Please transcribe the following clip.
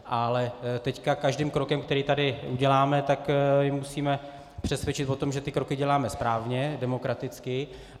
Ale teď každým krokem, který tady uděláme, tak je musíme přesvědčit o tom, že ty kroky děláme správně, demokraticky.